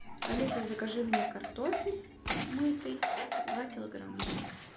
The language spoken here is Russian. алиса закажи мне картофель мытый два килограмма